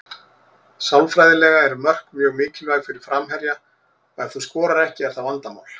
Sálfræðilega eru mörk mjög mikilvæg fyrir framherja og ef þú skorar ekki er það vandamál.